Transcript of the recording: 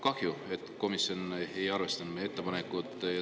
Kahju, et komisjon ei arvestanud meie ettepanekut.